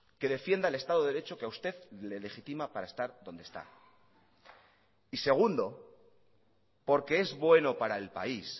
que defienda el estado de derecho que a usted le legitima para estar donde está y segundo porque es bueno para el país